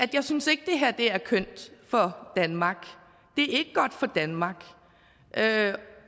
jeg synes ikke det her er kønt for danmark det er ikke godt for danmark